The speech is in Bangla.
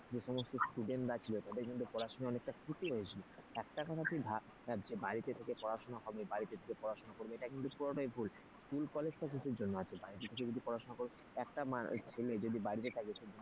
যে সমস্ত student রা ছিল তাদের কিন্তু অনেকটা পড়াশোনা ক্ষতি হয়েছিল একটা কথা তুই ভাব বাড়িতে থেকে পড়াশোনা হবে বাড়িতে থেকে পড়াশোনা করবে এটা কিন্তু পুরোটাই ভুল school college টা কিসের জন্য আছে বাড়িতে কেউ যদি পড়াশোনা করো যদি বাড়িতে থাকে,